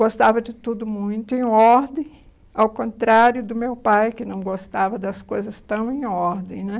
Gostava de tudo muito, em ordem, ao contrário do meu pai, que não gostava das coisas tão em ordem.